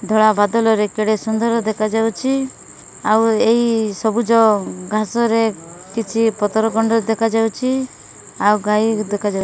ଧଳା ବାଦଲରେ କେଡେ ସୁନ୍ଦର ଦେଖାଯାଉଚି ଆଉ ଏଇ ସବୁଜ ଘାସରେ କିଛି ପତର ଖଣ୍ଡ ଦେଖାଯାଉଚି ଆଉ ଗାଈ ଦେଖା ଯାଉ --